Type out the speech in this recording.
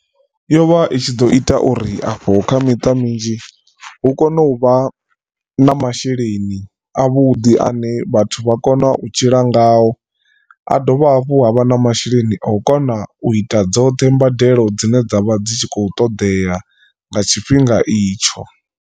Yo vha i tshi ḓo ita uri afho kha miṱa minzhi hu kone u vha na masheleni a vhuḓi ane vhathu vha kona u tshila ngao a dovha hafhu ha vha na masheleni a u kona u ita dzoṱhe mbadelo dzine dzavha dzi tshi khou ṱoḓea nga tshifhinga itsho.